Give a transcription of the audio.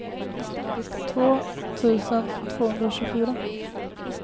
två tusen tvåhundratjugofyra